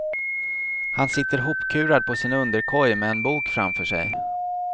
Han sitter hopkurad på sin underkoj med en bok framför sig.